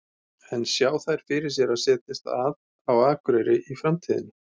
En sjá þær fyrir sér að setjast að á Akureyri í framtíðinni?